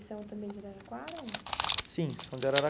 Eles são também de Araraquara? Sim, são de